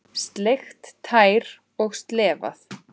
Sleikt tær og slefað.